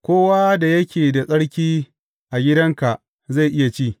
Kowa da yake da tsarki a gidanka zai iya ci.